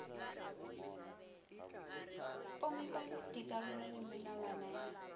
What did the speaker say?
pomipa dikarolo le melawana ya